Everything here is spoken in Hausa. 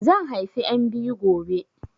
Zan haifi 'yan biyu gobe